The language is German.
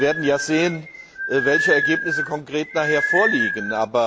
Wir werden ja sehen, welche Ergebnisse konkret nachher vorliegen.